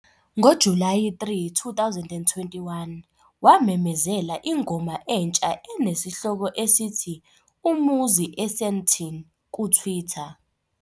NgoJulayi 3, 2021, wamemezela ingoma entsha enesihloko esithi "Umuzi eSandton" kuTwitter.